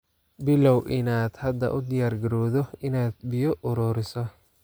Bilow inaad hadda u diyaargarowdo inaad biyo ururiso.